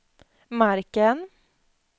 marken